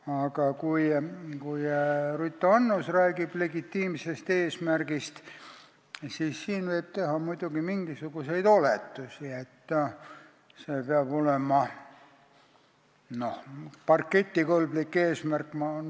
Aga kui Ruth Annus räägib legitiimsest eesmärgist, siis võib siin muidugi teha mingisuguseid oletusi, et see peab olema n-ö parketikõlblik eesmärk.